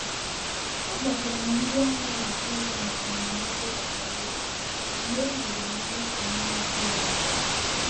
Akpọtụrụ m ndị anaghị akwụ ụgwọ maka ndụmọdụ gbasara ego mgbe enwere m mmefu m na-atụghị anya ya.